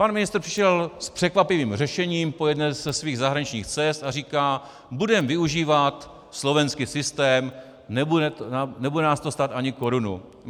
Pan ministr přišel s překvapivým řešením po jedné ze svých zahraničních cest a říká: budeme využívat slovenský systém, nebude nás to stát ani korunu.